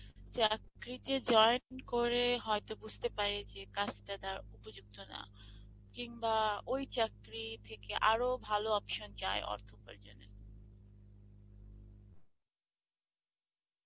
চাকরিতে join করে হয়েত বুজতে পারে যে কাজটা তার উপযুক্ত না কিনবা ওই চাকরির থেকে আরো ভালো option চায়